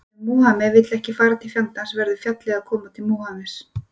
Ef Múhameð vill ekki fara til fjallsins verður fjallið að koma til Múhameðs